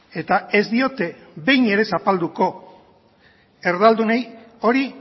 eta ez diote behin ere zapalduko erdaldunei hori